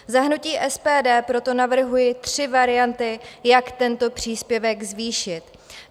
Za hnutí SPD proto navrhuji tři varianty, jak tento příspěvek zvýšit.